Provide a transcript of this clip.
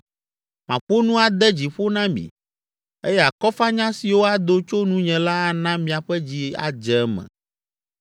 Maƒo nu ade dzi ƒo na mi eye akɔfanya siwo ado tso nunye la ana miaƒe dzi adze eme.